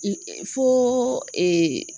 I foo ee